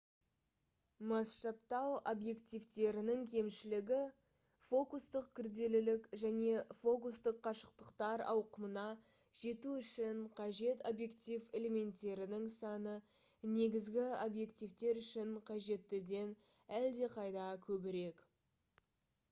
масштабтау объективтерінің кемшілігі фокустық күрделілік және фокустық қашықтықтар ауқымына жету үшін қажет объектив элементтерінің саны негізгі объективтер үшін қажеттіден әлдеқайда көбірек